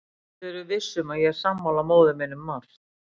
Og þú getur verið viss um að ég er sammála móður minni um margt.